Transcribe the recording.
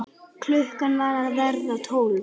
Klukkan var að verða tólf.